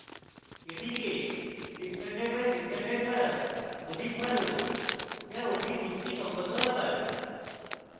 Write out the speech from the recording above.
এটিকে 600 by 600 করা অধিক ভালো যা অধিক যুক্তিসঙ্গত আকার